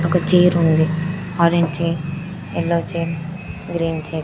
ఒక చైర్ ఉంది. Orange chair yellow chair green chair .